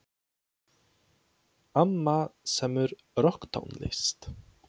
Amma semur rokktónlist.